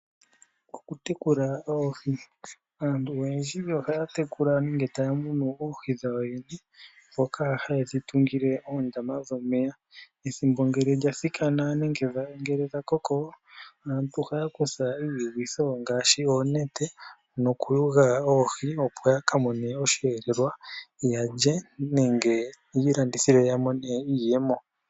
Okutekula oohi. Aantu oyendji ohaya tekula nenge taya munu oohi dhawo yene, dhoka haye dhi tungile oondama dhomeya. Ethimbo ngele lya thikana nenge ngele dha koko, aantu ohaya kutha iiyugitho ngaashi oonete nokuyuga oohi, opo ya ka mone oshihelelwa ya lye nenge ya ilandithile ya mone iiyemo.